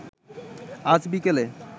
আজ বিকেলে